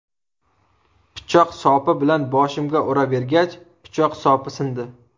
Pichoq sopi bilan boshimga uravergach, pichoq sopi sindi.